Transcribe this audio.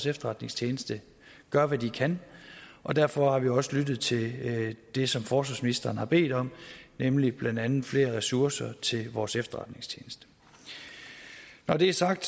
efterretningstjeneste gør hvad de kan og derfor har vi også lyttet til det som forsvarsministeren har bedt om nemlig blandt andet flere ressourcer til vores efterretningstjeneste når det er sagt